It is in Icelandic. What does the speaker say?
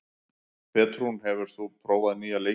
Petrún, hefur þú prófað nýja leikinn?